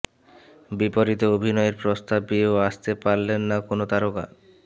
বিপরীতে অভিনয়ের প্রস্তাব পেয়েও আসতে পারলেন না কোন তারকা